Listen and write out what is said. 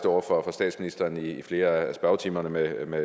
over for statsministeren i flere af spørgetimerne med